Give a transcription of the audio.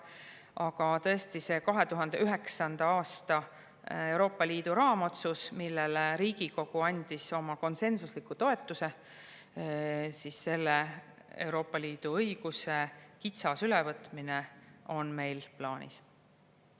Aga tõesti, 2009. aasta Euroopa Liidu raamotsus, millele Riigikogu andis oma konsensusliku toetuse – selle Euroopa Liidu õiguse kitsas ülevõtmine on meil plaanis.